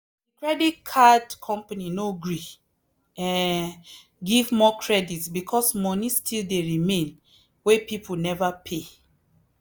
the credit card company no gree um give more credit because money still dey remain wey people never pay.